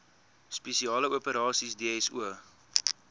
spesiale operasies dso